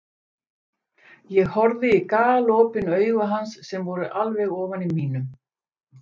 Ég horfði í galopin augu hans sem voru alveg ofan í mínum.